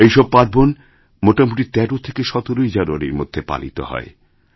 এই সব পার্বণ মোটামুটি ১৩ থেকে ১৭ জানুয়ারির মধ্যে পালিত হয়